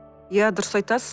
иә дұрыс айтасыз